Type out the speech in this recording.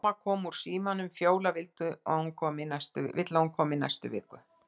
Amma kom úr símanum: Fjóla vill að hún komi í næstu viku.